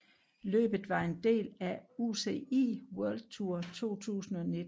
Løbet var en del af UCI World Tour 2019